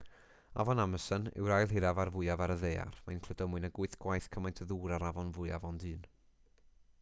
afon amason yw'r ail hiraf a'r fwyaf ar y ddaear mae'n cludo mwy nag 8 gwaith cymaint o ddŵr â'r afon fwyaf ond un